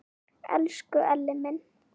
Elsku Elli minn!